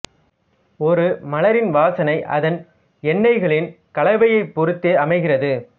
ஒரு மலரின் வாசனை அதன் எண்ணெய்களின் கலவையைப் பொருத்தே அமைகிறது